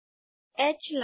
H line